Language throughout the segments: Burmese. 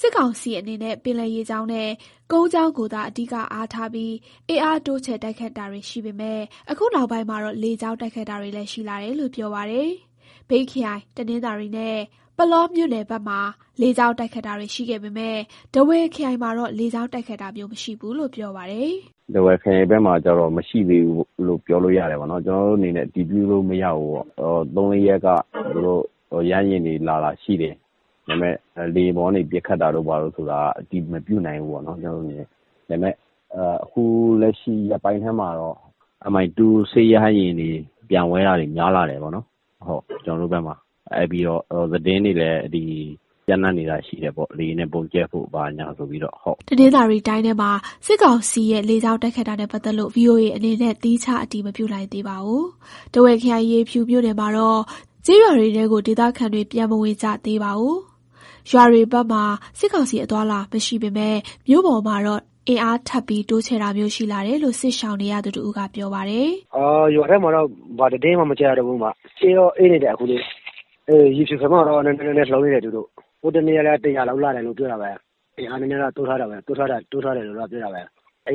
စစ်ကောင်စီအနေနဲ့ ပင်လယ်ရေကြောင်းနဲ့ ကုန်းကြောင်းကိုသာ အဓိကအားထားပြီး အင်အားတိုးချဲ့ တိုက်ခိုက်တာတွေ ရှိပေမယ့် အခုနောက်ပိုင်းမှာတော့ လေကြောင်းတိုက်ခိုက်တာတွေလည်း ရှိလာတယ်လို့ ပြောပါတယ်။ မြိတ်ခရိုင်၊ တနင်္သာရီနဲ့ ပုလောမြို့နယ်ဘက်မှာ လေကြောင်းတိုက်ခိုက်တာတွေ ရှိခဲ့ပေမယ့် ထားဝယ်ခရိုင်မှာတော့ လေကြောင်းတိုက်ခိုက်တာမျိုး မရှိဘူးလို့ ပြောပါတယ်။ "ထားဝယ်ခရိုင်ဘက်မှာတော့ မရှိသေးဘူးလို့ ပြောလို့ရမယ်ပေါ့နော်။ ကျနော်တို့အနေနဲ့ အတည်ပြုလို့ မရဘူးပေါ့။ ပြီးခဲ့တဲ့ ၃၊ ၄ရက်က သူတို့ရဟတ်ယာဉ်တွေ လာတာရှိတယ်။ ဒါပေမဲ့ လေယာဉ်ပေါ်ကနေ ပစ်ခတ်တာကတော့ ကျနော်တို့အနေနဲ့ အတည်မပြုနိုင်ဘူးပေါ့နော်။ ဒါပေမဲ့ အခုလက်ရှိ ရက်ပိုင်းထဲမှာတော့ Mi-2 စစ်ရဟတ်ယာဉ်တွေ ပျံဝဲတာတွေ ကျနော်တို့ဘက်မှာ များလာတယ်ပေါ့နော်။ ပြီးတော့ သတင်းတွေလည်း ပျံ့နှံ့နေတာရှိတယ်ပေါ့၊ လေယာဉ်နဲ့ ဗုံးကျဲဖို့ ဘာညာဆိုပြီးတော့။" တနင်္သာရီတိုင်းထဲမှာ စစ်ကောင်စီရဲ့ လေကြောင်းတိုက်ခိုက်တာနဲ့ ပတ်သက်လို့ VOA အနေနဲ့ သီးခြားအတည် မပြုနိုင်သေးပါဘူး။ ထားဝယ်ခရိုင်၊ ရေဖြူမြို့နယ်မှာတော့ ကျေးရွာတွေထဲကို ဒေသခံတွေ ပြန်မဝင်ကြသေးပါဘူး။ ရွာတွေဘက်မှာ စစ်ကောင်စီ အသွားအလာမရှိပေမယ့် မြို့ပေါ်မှာတော့ အင်အားထပ်ပြီး တိုးချဲ့တာမျိုး ရှိလာတယ်လို့ စစ်ရှောင်နေရသူတဦးက ပြောပါတယ်။ "ရွာထဲမှာတော့ ဘာသတင်းမှ မကြားရတော့ဘူး။ အေးတော့ အေးနေတယ်။ ရေဖြူဘက်မှာတော့ နည်းနည်းလှုပ်နေတယ်။ ဟိုတနေ့ကလည်း ၁၀၀ လောက်လာတယ် ပြောတာပဲ။ အင်အားနည်းနည်း ထပ်တိုးထားတယ်။ အ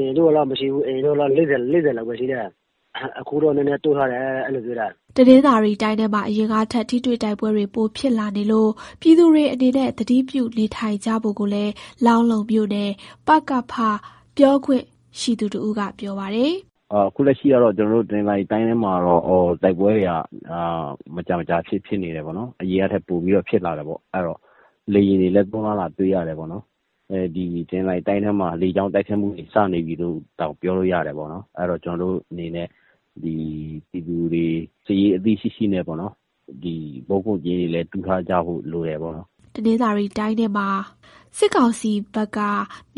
ရင်တုန်းက အဲလောက်မရှိဘူး။ အရင်က ၄၀ လောက်ပဲရှိတယ်။ အခုတော့ နည်းနည်းတိုးထားတယ်လို့ ပြောတယ်။" တနင်္သာရီတိုင်းထဲမှာ အရင်ကထက် ထိတွေ့တိုက်ပွဲတွေ ပိုဖြစ်လာနေလို့ ပြည်သူတွေအနေနဲ့ သတိပြု နေထိုင်ကြဖို့ကိုလည်း လောင်းလုံးမြို့နယ် ပကဖ ပြောခွင့်ရှိသူ တဦးက ပြောပါတယ်။ "အခုလက်ရှိကတော့ ကျနော်တို့ တနင်္သာရီတိုင်းထဲမှာ တိုက်ပွဲတွေက မကြာမကြာ ဖြစ်နေတယ်ပေါ့နော်။ အရင်ကထက် ပိုပြီးတော့ ဖြစ်လာတယ်ပေါ့။ လေယာဉ်တွေလည်း သုံးလာတာ တွေ့ရတယ်။ တနင်္သာရီတိုင်းထဲမှာ လေကြောင်းတိုက်ခိုက်မှုတွေ စနေပြီလို့တောင် ပြောလို့ရတယ်ပေါ့နော်။ အဲတော့ ပြည်သူတွေ စစ်ရေးအသိရှိရှိနဲ့ ဗုံးခိုကျင်းတွေ တူးထားကြဖို့ လိုတယ်ပေါ့နော်။" တနင်္သာရီတိုင်းထဲမှာ စစ်ကောင်စီဘက်က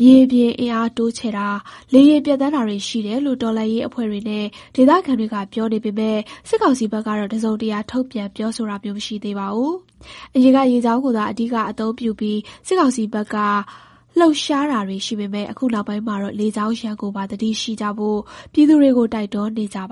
မြေပြင်အင်အား တိုးချဲ့တာ၊ လေယာဉ်ပျံသန်းတာတွေ ရှိတယ်လို့ တော်လှန်ရေးအဖွဲ့တွေနဲ့ ဒေသခံတွေက ပြောနေပေမယ့် စစ်ကောင်စီဘက်ကတော့ တစုံတရာ ထုတ်ပြန်ပြောဆိုတာမျိုး မရှိသေးပါဘူး။ အရင်က ရေကြောင်းကိုသာ အဓိကအသုံးပြုပြီး စစ်ကောင်စီဘက်က လှုပ်ရှားတာတွေရှိပေမယ့် အခုနောက်ပိုင်းမှာတော့ လေကြောင်းရန်ကိုပါ သတိရှိကြဖို့ ပြည်သူတွေကို တိုက်တွန်းနေကြတာပါ